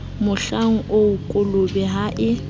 mohlang oo kolobe ha e